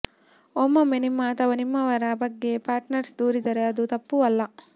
ಒಮ್ಮೊಮ್ಮೆ ನಿಮ್ಮ ಅಥವಾ ನಿಮ್ಮವರ ಬಗ್ಗೆ ಪಾರ್ಟ್ನರ್ ದೂರಿದರೆ ಅದು ತಪ್ಪೂ ಅಲ್ಲ